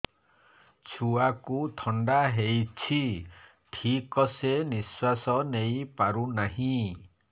ଛୁଆକୁ ଥଣ୍ଡା ହେଇଛି ଠିକ ସେ ନିଶ୍ୱାସ ନେଇ ପାରୁ ନାହିଁ